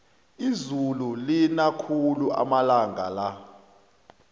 izulu lina khulu amalanga la